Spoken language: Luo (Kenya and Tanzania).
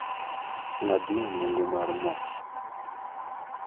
ng'da na nengo mar mo